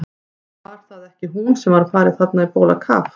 Var það ekki hún sem var að fara þarna á bólakaf?